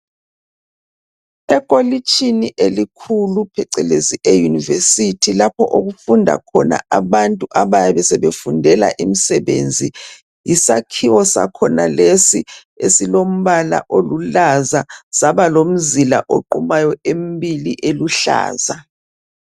Ekolitshini elikhulu, phecelezi eyunivesithi, lapho okufunda khona abantu abayabe sebefundela imisebenzi. Yisakhiwo sakhona lesi, esilombala olulaza, Saba lomzila oqumayo emibili eluhlaza.